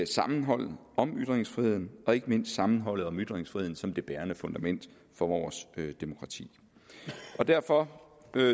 sammenholdet om ytringsfriheden og ikke mindst sammenholdet om ytringsfriheden som det bærende fundament for vores demokrati derfor